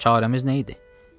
Çarəmiz nə idi?”